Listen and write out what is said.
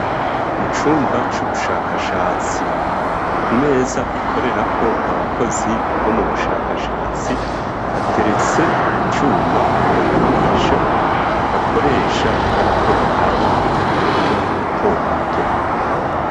Mu cumba c'ubushakashatsi ku meza ikorera ko abakozi bo mu bushakashatsi hateretse icuma rugagamisha bakoresha bariko baraba utuntu duto duto.